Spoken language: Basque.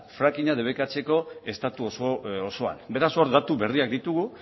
fracking a debekatzeko estatu osoan beraz hor datu berriak ditugu